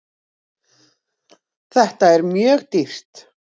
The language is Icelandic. Þetta er mjög dýrt.